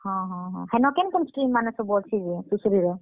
ହଁ ହଁ ହଁ, ହେନ କେନ୍ କେନ୍ stream ମାନେ ସବୁ ଅଛେ ଯେ ସୁଶ୍ରୀ ର?